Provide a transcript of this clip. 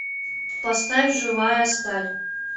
поставь живая сталь